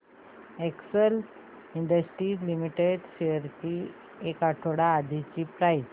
Excel Industries Limited shares ची एक आठवड्या आधीची प्राइस